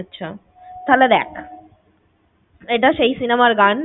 আচ্ছা তাহলে দেখ এইটা সেই cinema র গান।